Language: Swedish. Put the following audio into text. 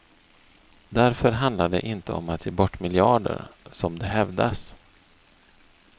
Därför handlar det inte om att ge bort miljarder som det hävdas.